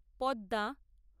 Padma